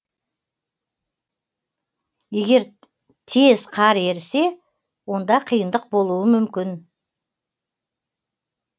егер тез қар ерісе онда қиындық болуы мүмкін